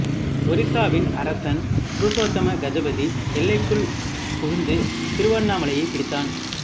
ஒரிசாவின் அரசன் புருஷோத்தம கஜபதி எல்லைக்குள் புகுந்து திருவண்ணாமலையைப் பிடித்தான்